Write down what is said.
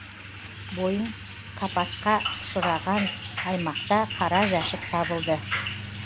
бойын капатқа ұшыраған аймақта қара жәшік табылды